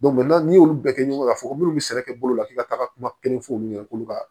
n'i y'olu bɛɛ kɛ ɲɔgɔn kan ka fɔ ko munnu be sɛnɛ kɛ bolow la k'i ka taga kuma kelen fɔ olu ɲɛna k'olu ka